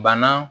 Bana